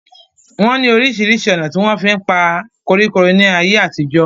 wọ́n ní orísirísi ònà tí wọ́n fí ń pa koríko ní ayé àtijọ́